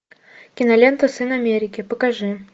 кинолента сын америки покажи